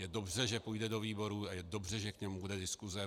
Je dobře, že půjde do výborů, a je dobře, že k němu bude diskuse.